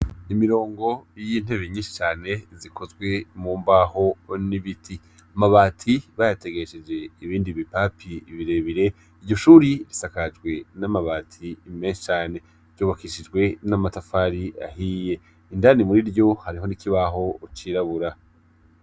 Imirongo y'intebe nyinshi cane zikozwe mu mbaho n'ibiti, amabati bayategesheje ibindi bipapi birebire, iryo shuri risakajwe n'amabati meza cane ryubakishijwe n'amatafari ahiye, indani muriryo hariho n'ikibaho cirabura.